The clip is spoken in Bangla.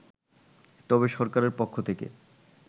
তবে সরকারের পক্ষ থেকে